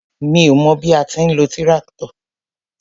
Mi ó mọ bí a ti ń lo tíráktọ̀.